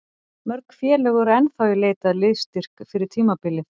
Mörg félög eru ennþá í leit að liðsstyrk fyrir tímabilið.